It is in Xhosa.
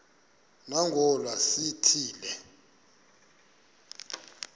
nangona sithi le